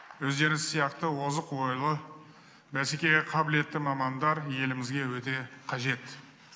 өздеріңіз сияқты озық ойлы бәсекеге қабілетті мамандар елімізге өте қажет